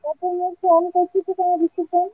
ତତେ ମୁଁ phone କରୁଚି ତୁ କାଇଁ receive କରୁନୁ?